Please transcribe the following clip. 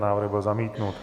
Návrh byl zamítnut.